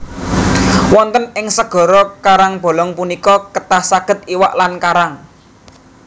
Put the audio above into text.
Wonten ing segara karangbolong punika kathah sanget iwak lan karang